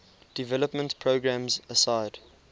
development programs aside